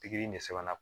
Pikiri in de sɛbɛnna